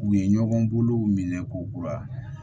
U ye ɲɔgɔn bolow minɛ k'o kura